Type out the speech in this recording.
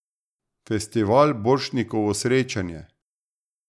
Festival Borštnikovo srečanje.